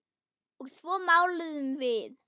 Og svo máluðum við.